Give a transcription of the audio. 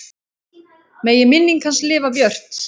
Megi minning hans lifa björt.